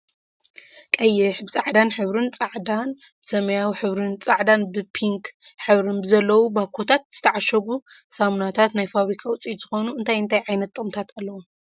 ቀይሕ ብፃዕዳን ሕብርን ፃዕዳን ብሰማያዊን ሕብርን ፃዕዳን ብፕንክ ሕብርን ብዘለዎም ባኮታት ዝተዓሸጉ ሰምናታት ናይ ፋብርካ ውፅኢት ዝኮነ እንታይ እንታይ ዓይነት ጥቅምታት ኣለዎም?